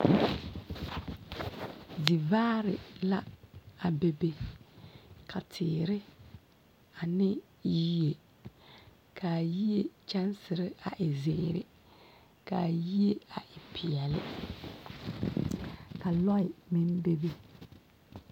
Zivaare la a bebe ka teere ane yie ka a yie kyɛnsire a e zeere ka a yie e peɛlle ka lɔɛ meŋ bebe.